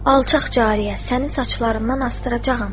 Alçaq cariyə, səni saçlarından asdıracağam